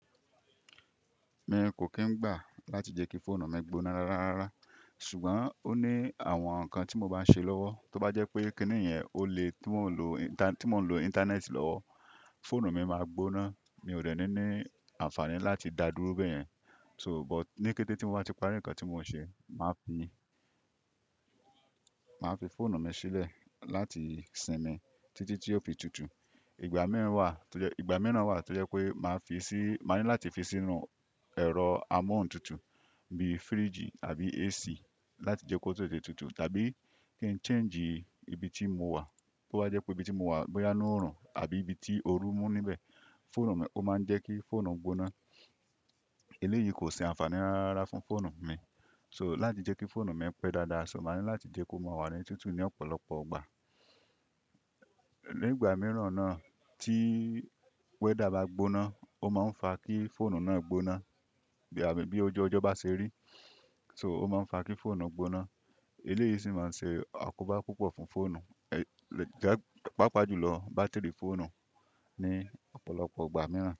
Mi kò kí ń gbà láti jẹ́ kí fóònù mi gbóná rárá, ṣùgbọ́n ó ní àwọn ǹkan tí mo bá ṣe lọ́wọ́ tó bá jẹ́ pé kíní yen, ó le tí mò ń lo ìntanẹ́ẹ̀tì lọ́wọ́, fóònù mi máa gbóná. Mi ò dènní ní àǹfààní láti dá dúró bẹ́ẹ̀ yẹn. So but ní kété tí mo bá ti parí ǹkan tí mo ń ṣe, màá fi fóònù mi sílẹ̀ láti sinmi títí tí ó fi tutù igba mi wa. Ìgbà mìí wà tó jẹ́ pé màá ní láti fi sínú ẹ̀rọ amóhuntutù bí i firíìgì àbí AC láti jẹ́ kó tó tè tutù tàbí kí n change ibi tí mo wà. Bo bá jẹ́ pé ibi tí mo wà bóyá inù ọ̀ràn àbí ibi tí ooru mú níbẹ̀, fóònù mi, ó máa ń jẹ́ kí fóònù gbóná. Èlé yìí kò ṣe àǹfààní rárá fún fóònù mi. So láti jẹ́ kí fóònù mi pẹ́ dáadáa, so màá ní láti jẹ́ kó máa wà ní tútù ní ọ̀pọ̀lọpọ̀ ọgbà. Ní ìgbà mìíràn náà tí wẹ́dà bá gbóná, ó máa ń fa kí fóònù náà gbóná bí ojú ọjọ́ bá ṣe rí. So ó máa ń fa kí fóònù gbóná. Èléyìí sì máa ń ṣe àkóbá púpọ̀ fún fóònù, pàápàá jùlọ bátìrì fóònù ní ọ̀pọ̀lọpọ̀ ọgbà mìíràn.